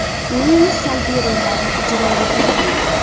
Men salbiy rollarni ijro etmayman.